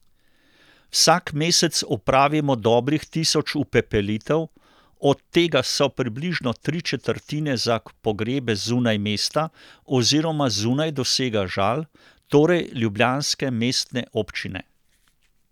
Vsak mesec opravimo dobrih tisoč upepelitev, od tega so približno tri četrtine za pogrebe zunaj mesta oziroma zunaj dosega Žal, torej ljubljanske mestne občine.